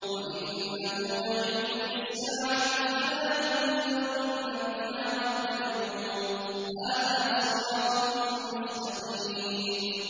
وَإِنَّهُ لَعِلْمٌ لِّلسَّاعَةِ فَلَا تَمْتَرُنَّ بِهَا وَاتَّبِعُونِ ۚ هَٰذَا صِرَاطٌ مُّسْتَقِيمٌ